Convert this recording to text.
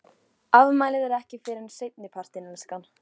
Afmælið er ekki fyrr en seinni partinn, elskan.